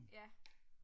Ja